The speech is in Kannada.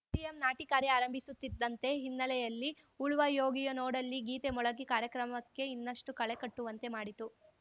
ಸಿಎಂ ನಾಟಿ ಕಾರ್ಯ ಆರಂಭಿಸುತ್ತಿದ್ದಂತೆ ಹಿನ್ನೆಲೆಯಲ್ಲಿ ಉಳುವಾ ಯೋಗಿಯ ನೋಡಲ್ಲಿ ಗೀತೆ ಮೊಳಗಿ ಕಾರ್ಯಕ್ರಮಕ್ಕೆ ಇನ್ನಷ್ಟುಕಳೆ ಕಟ್ಟುವಂತೆ ಮಾಡಿತು